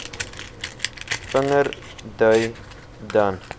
vinger dui dan